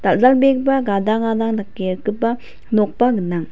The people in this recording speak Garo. dal·dalbegipa gadang gadang dake rikgipa nokba gnang.